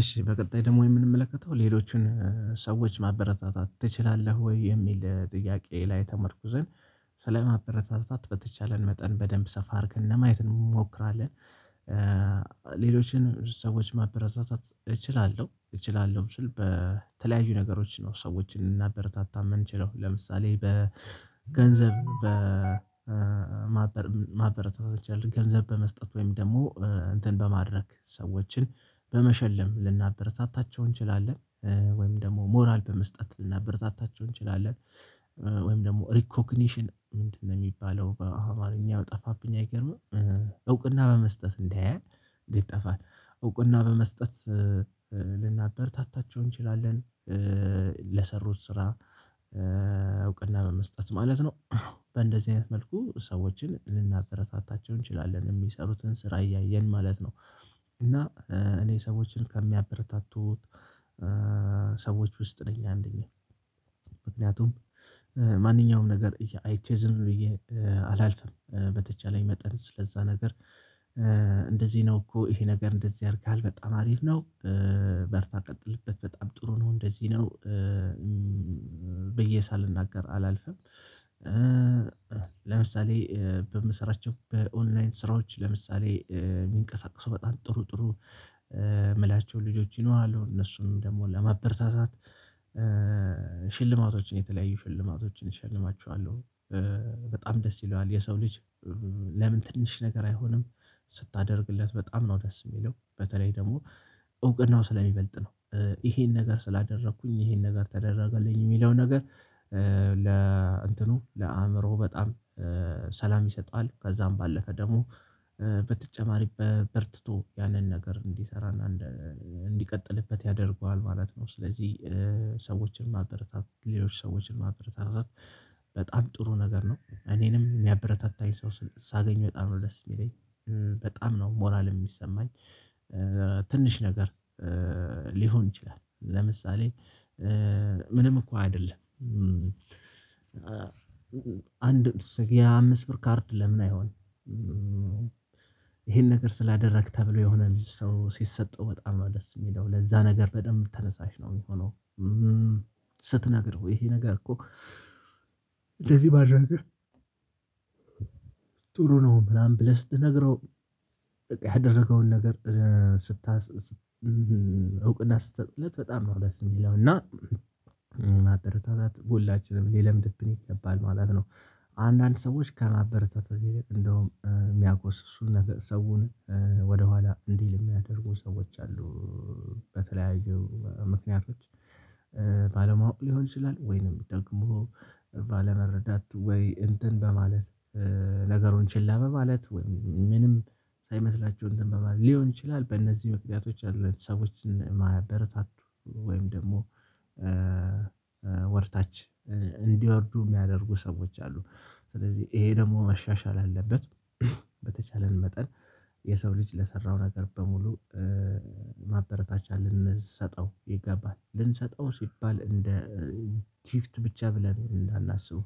እሺ በቀጣይ ደግሞ የምንመለከተው ሌሎችን ሰዎች ማበረታታት ትችላለህ ወይ የሚል ለጥያቄ ላይ ተመርኩዘን ስለማበረታታት በተቻለን መጠን በደንብ ሰፋርክ እንደማየት እንሞክራለን። ሌሎችን ሰዎች ማበረታታት እችላለሁ እችላለሁ ስል በተለያዩ ነገሮች ነው ሰዎችን እናበረታታም የምንችለው ለምሳሌ በገንዘብ በማበር ማበረታታት ያለብን ገንዘብ በመስጠት ወይም ደግሞ እንትን በማድረግ ሰዎችን በመሸለም ልናበረታታቸው እንችላለን ወይም ደግሞ ሞራል በመስጠት ልናበረታታቸው እንችላለን። ወይም ደግሞ ሪኮግኒሽን ምንድነው የሚባለው በአማርኛ ጠፋብኝ አይገርምም እውቅና በመስጠት እንዳያይ እንዴት ይጠፋል? እውቅና በመስጠት ልናበርታታቸው እንችላለን። ለሰሩት ስራ እውቅና መመስጠት ማለት ነው። በእንደዚህ አይነት መልኩ ሰዎችን ልናበረታታቸው እንችላለን የሚሰሩትን ስራ እያየን ማለት ነው። እና እኔ ሰዎችን ከሚያበረታቱት ሰዎች ውስጥ ነኝ አንደኛ ምክንያቱም ማንኛውም ነገር አይቼ ዝም ብዬ አላልፍም በተቻለኝ መጠን ስለዛ ነገር እንደዚህ ነው እኮ ይሄ ነገር እንደዚህ ያድርግሃል በጣም አሪፍ ነው። በርታ ቀጥልበት በጣም ጥሩ ነው እንደዚህ ነው። በየሳልናገር አላልፍም። ለምሳሌ በምሰራቸው በኦንላይን ስራዎች ለምሳሌ የሚንቀሳቀሱ በጣም ጥሩ ጥሩ የምላቸው ልጆች ይኖራሉ እነሱም ደግሞ ለማበረታታት ሽልማቶችን የተለያዩ ሽልማቶችን እሸልማችኋለሁ። በጣም ደስ ይለዋል የሰው ልጅ ለምን ትንሽ ነገር አይሆንም? ስታደርግለት በጣም ነው ደስ የሚለው በተለይ ደግሞ እውቅናው ስለሚበልጥ ነው። ይሄን ነገር ስላደረኩኝ ይሄን ነገር ተደረገልኝ የሚለው ነገር ለእንትኑ ለአእምሮህ በጣም ሰላም ይሰጣል። ከዛም ባለፈ ደግሞ በተጨማሪ በርትቶ ያንን ነገር እንዲሰራ እንዲቀጥልበት ያደርገዋል ማለት ነው። ስለዚህ ሰዎችን ማበረታት ሌሎች ሰዎችን ማበረታት በጣም ጥሩ ነገር ነው። እኔንም የሚያበረታታኝ ሰው ሳገኝ በጣም ወደስ የሚለኝ በጣም ነው ሞራል የሚሰማኝ። ትንሽ ነገር ሊሆን ይችላል። ለምሳሌ ምንም እኮ አይደለም አንድ የአምስት ብር ካርድ ለምን አይሆንም? ይሄን ነገር ስላደረግክ ተብሎ የሆነ ልጅ ሰው ሲሰጠው በጣም ነው ደስ የሚለው ለዛ ነገር በደንብ ተነሳሽ ነው የሚሆነው። ስትነግረው ይሄ ነገር እኮ እንደዚህ ባደረገ ጥሩ ነው ምናምን ብለህ ስትነግረው። ያደረገውን ነገር ስታስ እውቅና ስትሰጥለት በጣም ነው የሚለው እና ይላል። እና ማበረታታት በሁላችንም ሊለምድብን ይገባል ማለት ነው። አንዳንድ ሰዎች ከማበረታታት ይልቅ እንደውም የሚያጎስሱ ነገር ሰውን ወደኋላ እንዲል የሚያደርጉ ሰዎች አሉ። በተለያዩ ምክንያቶች ባለማወቅ ሊሆን ይችላል። ወይንም ደግሞ ባለመረዳት ወይ እንትን በማለት ነገሩን ችላ በማለት ወይ ምንም ሳይመስላቸው እንትን በማድረግ ሊሆን ይችላል። በእነዚህ መክደቶች አሉ ሰዎችን ማበረታቱ ወይም ደግሞ ወርታች እንዲወርዱ የሚያደርጉ ሰዎች አሉ። ስለዚህ ይሄ ደግሞ መሻሻል አለበት። በተቻለን መጠን የሰው ልጅ ለሰራው ነገር በሙሉ ማበረታቻ ልንሰጠው ይገባል ልንሰጠው ሲባል እንደ ቲፍት ብቻ ብለን እንዳናስበው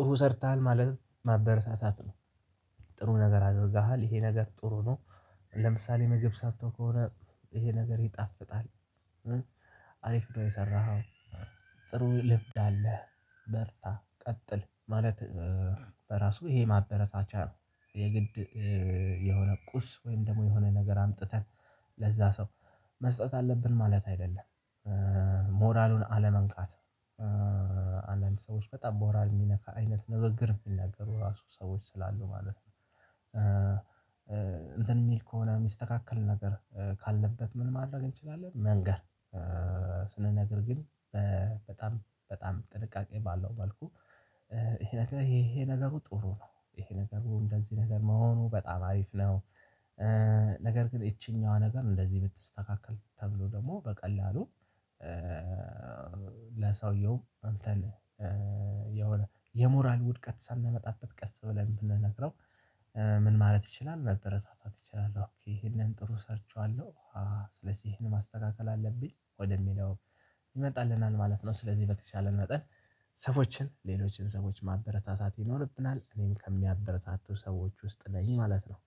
ጥሩ ሰርተሃል ማለት ማበረታታት ነው። ጥሩ ነገር አድርገሃል ይሄ ነገር ጥሩ ነው። ለምሳሌ ምግብ ሳትተው ከሆነ ይሄ ነገር ይጣፍጣል። አሪፍ ነው የሰራኸው። ጥሩ ልምድ አለህ። መርታ ቀጥል ማለት በራሱ ይሄ ማበረታቻ ነው። የግድ የሆነ ቁስ ወይም ደግሞ የሆነ ነገር አምጥተን ለዛ ሰው መስጠት አለብን ማለት አይደለም። ሞራሉን አለመንካት አንዳንድ ሰዎች በጣም ሞራል የሚነካ አይነት ንግግር የሚናገሩ ራሱ ሰዎች ስላሉ ማለት ነው። ነው እንትን የሚል ከሆነ የሚስተካከል ነገር ካለበት ምን ማድረግ እንችላለን መንገር። ስንነግር ግን በጣም በጣም ጥንቃቄ ባለው መልኩ ይሄ ነገር ይሄ ነገሩ ጥሩ ነው ይሄ ነገሩ እንደዚህ ነገር መሆኑ በጣም አሪፍ ነው። ነገር ግን ይቺኛዋ ነገር እንደዚህ ብትስተካከል ተብሎ ደግሞ በቀላሉ ለሰውየውም አንተን የሆነ የሞራል ውድቀት ሳታመጣበት ቀስ ብለን ብንነግረው ምን ማለት ይችላል መበረታታት ይችላል ይሄንን ጥሩ ሰርቼዋለሁ ስለዚህ ይሄን ማስተካከል አለብኝ ወደሚለው ይመጣልናል ማለት ነው። ስለዚህ በተቻለን መጠን ሰዎችን ሌሎችን ሰዎች ማበረታታት ይኖርብናል እኔም ከሚያበረታቱ ሰዎች ውስጥ ነኝ ማለት ነው